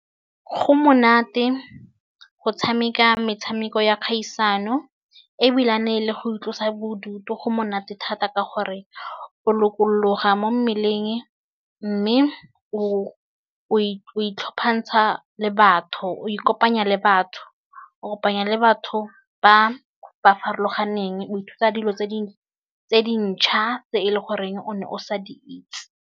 Go monate go tshameka metshameko ya kgaisano ebilane le go itlosa bodutu go monate thata ka gore o lokologa mo mmeleng mme o o le batho o ikopanya le batho o kopanya le batho ba ba farologaneng o ithuta dilo tse di ntšhwa tse e le goreng o ne o sa di itse.